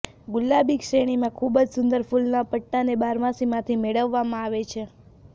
ગુલાબી શ્રેણીમાં ખૂબ જ સુંદર ફૂલના પટ્ટાને બારમાસીમાંથી મેળવવામાં આવે છે